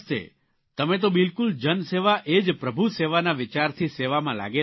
તમે તો બિલકુલ જનસેવા એ જ પ્રભુસેવાના વિચારથી સેવામાં લાગેલા છો